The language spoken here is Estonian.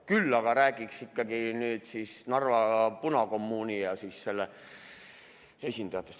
Küll aga räägiksin ikkagi Narva punakommuunist ja selle esindajatest.